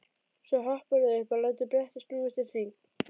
Svo hopparðu upp og lætur brettið snúast í hring.